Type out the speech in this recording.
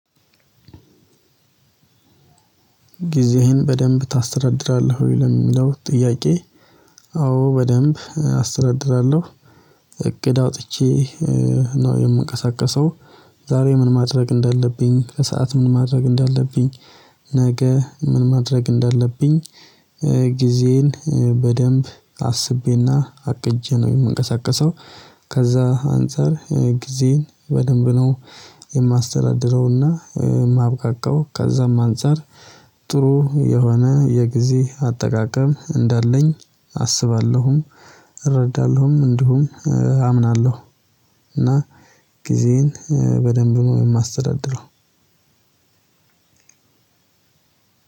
ጊዜህን በደንብ ታስተዳድራለህ ወይ? ለሚለው ጥያቄ አዎ በደንብ አስተዳድራለሁ። እቅድ አውጥቼ ነው የምንቀሳቀሰው፤ ዛሬ ምን ማድረግ እንደለብኝ ከሰአት ምን ማድረግ እንደለብኝ፤ ነገ ምን ማድረግ እንዳለብኝ፤ ጊዜዬን በደንብ አስቤና አቅጄ ነው የምንቀሳቀሰው። ከዛ አንፃር ጊዜን በደንብ ነው የማስተዳድረውና የማብቃቃው። ከዛም አንፃር ጥሩ የሆነ የጊዜ አጠቃቀም እንዳለኝ አስባለሁም፤ እረዳለሁም እንደውም አምናለሁ። እና ጊዜን በደንብ ነው የማስተዳድረው።